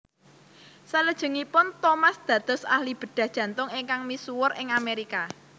Salajengipun Thomas dados ahli bedhah jantung ingkang misuwur ing Amérika